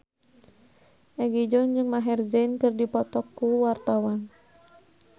Egi John jeung Maher Zein keur dipoto ku wartawan